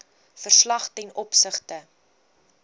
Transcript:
verslag ten opsigte